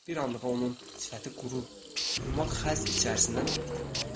Bir anlığa onun sifəti quru yumşaq xəz içərisindən itib batdı.